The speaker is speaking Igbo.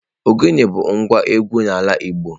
Ogene bụ ngwa egwú n'ala Igbo.